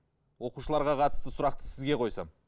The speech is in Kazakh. оқушыларға қатысты сұрақты сізге қойсам